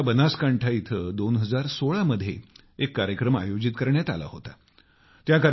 गुजरातच्या बनासकांठा इथं 2016 मध्ये एक कार्यक्रम आयोजित करण्यात आला होता